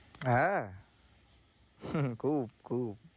হ্যাঁ খুব খুব।